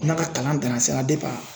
N'a ka kalan dana sira dep'a